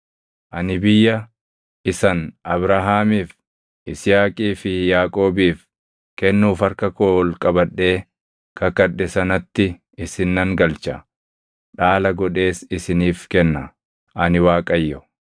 Ani biyya isan Abrahaamiif, Yisihaaqii fi Yaaqoobiif kennuuf harka koo ol qabadhee kakadhe sanatti isin nan galcha. Dhaala godhees isiniif kenna. Ani Waaqayyo.’ ”